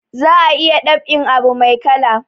Za a iya dab'in abu mai kala